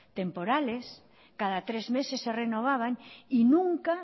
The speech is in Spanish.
temporales cada tres meses se renovaban y nunca